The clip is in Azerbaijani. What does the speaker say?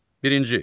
Birinci.